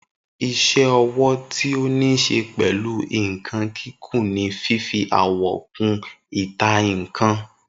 Isé owó tí o nise pẹ́lu nkan kìkun ni fífi àwọ̀ kun ìta nkan